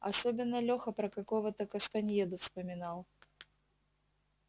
особенно лёха про какого-то кастаньеду вспоминал